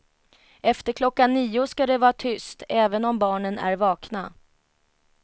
Efter klockan nio ska det vara tyst även om barnen är vakna.